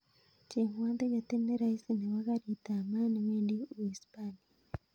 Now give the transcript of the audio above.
Chengwon tiketit ne raisi nebo garit ab maat newendi uhispania